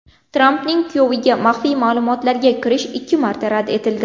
Trampning kuyoviga maxfiy ma’lumotlarga kirish ikki marta rad etildi.